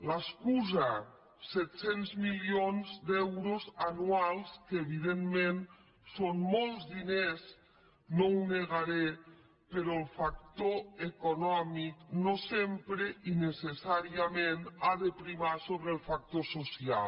l’excusa set cents milions d’euros anuals que evidentment són molts diners no ho negaré però el factor econòmic no sempre i necessàriament ha de primar sobre el factor social